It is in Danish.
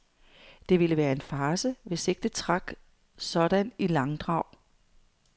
Det ville være en farce, hvis ikke det trak sådan i langdrag.